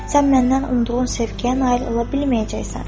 Sən məndən umduğun sevgiyə nail ola bilməyəcəksən.